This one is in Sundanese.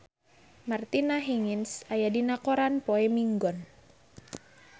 Martina Hingis aya dina koran poe Minggon